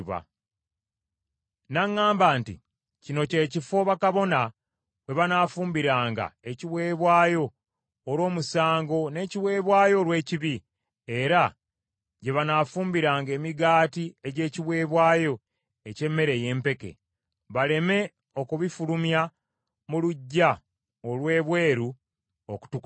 N’aŋŋamba nti, “Kino kye kifo bakabona we banaafumbiranga ekiweebwayo olw’omusango n’ekiweebwayo olw’ekibi, era gye banaafumbiranga emigaati egy’ekiweebwayo eky’emmere ey’empeke, baleme okubifulumya mu luggya olw’ebweru okutukuza abantu.”